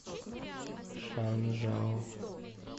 шанжао